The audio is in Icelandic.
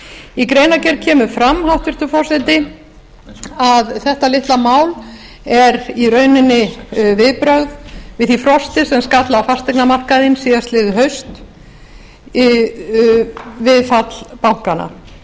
í greinargerð kemur fram hæstvirtur forseti að þetta litla mál er í rauninni viðbrögð við því frosti sem skall á fasteignamarkaðinn síðastliðið haust við fall bankanna og